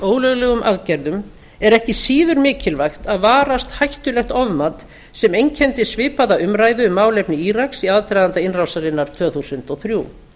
ólöglegum aðgerðum er ekki síður mikilvægt að varast hættulegt ofmat sem einkenndi svipaða umræðu um málefni íraks í aðdraganda innrásarinnar tvö þúsund og þrjú